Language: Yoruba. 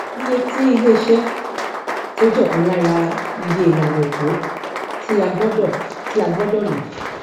iye tí ilé iṣé tó jẹ ọkan lára iye ìlànà opo tí a gbọdọ tí a gbọdọ lò